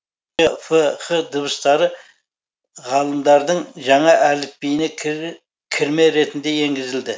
в ф һ дыбыстары ғалымдардың жаңа әліпбиіне кірме ретінде енгізілді